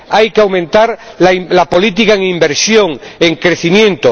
Hay que aumentar la política de inversión, de crecimiento.